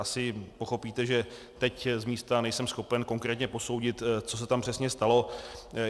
Asi pochopíte, že teď z místa nejsem schopen konkrétně posoudit, co se tam přesně stalo.